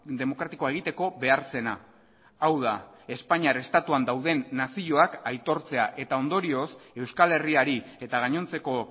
demokratikoa egiteko behar zena hau da espainiar estatuan dauden nazioak aitortzea eta ondorioz euskal herriari eta gainontzeko